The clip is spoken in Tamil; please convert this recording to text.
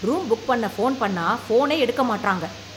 ரூம் புக் பண்ண போன் பண்ணா போனே எடுக்க மாட்றாங்க